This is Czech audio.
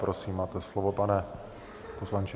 Prosím, máte slovo, pane poslanče.